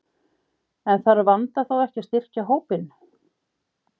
En þarf Vanda þá ekki að styrkja hópinn?